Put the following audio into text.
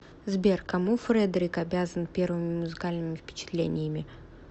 сбер кому фредерик обязан первыми музыкальными впечатлениями